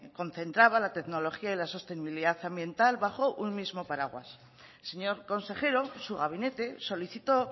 concentraba la tecnología y la sostenibilidad ambiental bajo un mismo paraguas señor consejero su gabinete solicitó